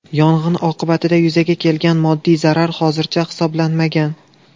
Yong‘in oqibatida yuzaga kelgan moddiy zarar hozircha hisoblanmagan.